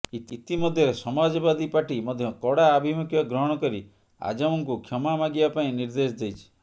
ଇତିମଧ୍ୟରେ ସମାଜବାଦୀ ପାର୍ଟି ମଧ୍ୟ କଡ଼ା ଆଭିମୁଖ୍ୟ ଗ୍ରହଣ କରି ଆଜମ୍ଙ୍କୁ କ୍ଷମା ମାଗିବା ପାଇଁ ନିର୍ଦ୍ଦେଶ ଦେଇଛି